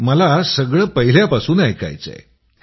मला सगळं पहिल्यापासून ऐकायचंय